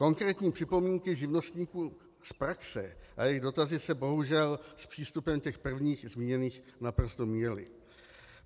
Konkrétní připomínky živnostníků z praxe a jejich dotazy se bohužel s přístupem těch prvních zmíněných naprosto míjely.